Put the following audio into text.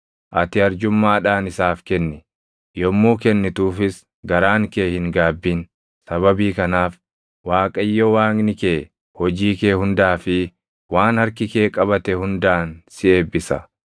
Ati arjummaadhaan isaaf kenni; yommuu kennituufis garaan kee hin gaabbin; sababii kanaaf Waaqayyo Waaqni kee hojii kee hundaa fi waan harki kee qabate hundaan si eebbisa.